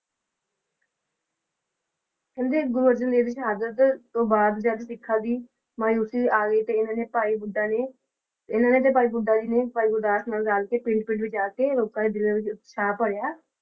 ਕਹਿੰਦੇ ਗੁਰੂ ਅਰਜਨ ਦੇਵ ਜੀ ਦੀ ਸ਼ਹਾਦਤ ਤੋਂ ਬਾਅਦ ਜਦ ਸਿੱਖ ਦੀ ਮਾਯੂਸੀ ਆ ਗਈ ਤਾਂ ਇਹਨਾਂ ਨੇ ਭਾਈ ਬੁੱਢਾ ਜੀ ਨੇ ਇਹਨਾਂ ਨੇ ਤੇ ਭਾਈ ਬੁੱਢਾ ਜੀ ਨੇ ਭਾਈ ਗੁਰਦਾਸ ਨਾਲ ਰਲ ਕੇ ਪਿੰਡ ਪਿੰਡ ਵਿੱਚ ਜਾਕੇ ਲੋਕਾਂ ਦੇ ਦਿਲਾਂ ਵਿੱਚ ਉਤਸ਼ਾਹ ਭਰਿਆ।